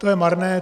To je marné.